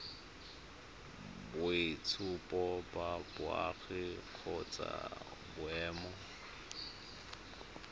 boitshupo ba boagi kgotsa boemo